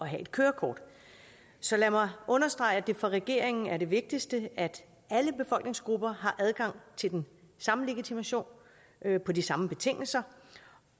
have et kørekort så lad mig understrege at det for regeringen er det vigtigste at alle befolkningsgrupper har adgang til den samme legitimation på de samme betingelser